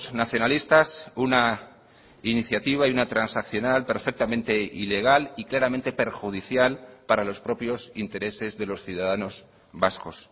nacionalistas una iniciativa y una transaccional perfectamente ilegal y claramente perjudicial para los propios intereses de los ciudadanos vascos